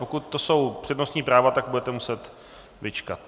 Pokud to jsou přednostní práva, tak budete muset vyčkat.